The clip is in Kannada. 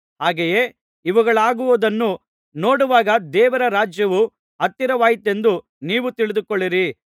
ಹಾಗೆಯೇ ಇವುಗಳಾಗುವುದನ್ನು ನೋಡುವಾಗ ದೇವರ ರಾಜ್ಯವು ಹತ್ತಿರವಾಯಿತೆಂದು ನೀವು ತಿಳಿದುಕೊಳ್ಳಿರಿ